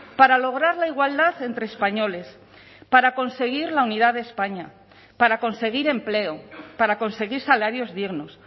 para lograr la igualdad entre españoles para conseguir la unidad de españa para conseguir empleo para conseguir salarios dignos